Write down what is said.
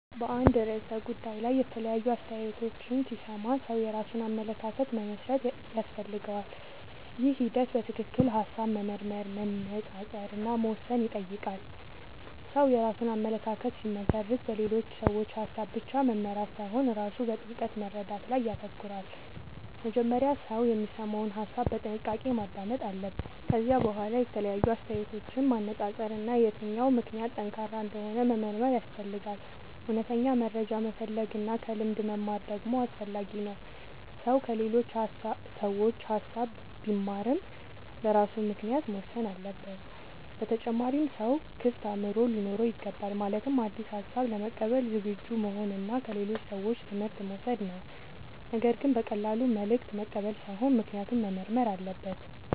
በአንድ ርዕሰ ጉዳይ ላይ የተለያዩ አስተያየቶችን ሲሰማ ሰው የራሱን አመለካከት መመስረት ያስፈልገዋል። ይህ ሂደት በትክክል ሐሳብ መመርመር፣ መነጻጸር እና መወሰን ይጠይቃል። ሰው የራሱን አመለካከት ሲመሰርት በሌሎች ሰዎች ሐሳብ ብቻ መመራት ሳይሆን ራሱ በጥልቅ መረዳት ላይ ይተኮራል። መጀመሪያ ሰው የሚሰማውን ሐሳብ በጥንቃቄ ማዳመጥ አለበት። ከዚያ በኋላ የተለያዩ አስተያየቶችን ማነጻጸር እና የትኛው ምክንያት ጠንካራ እንደሆነ መመርመር ያስፈልጋል። እውነተኛ መረጃ መፈለግ እና ከልምድ መማር ደግሞ አስፈላጊ ነው። ሰው ከሌሎች ሰዎች ሐሳብ ቢማርም በራሱ ምክንያት መወሰን አለበት። በተጨማሪም ሰው ክፍት አእምሮ ሊኖረው ይገባል። ማለትም አዲስ ሐሳብ ለመቀበል ዝግጁ መሆን እና ከሌሎች ሰዎች ትምህርት መውሰድ ነው። ነገር ግን በቀላሉ መልእክት መቀበል ሳይሆን ምክንያቱን መመርመር አለበት።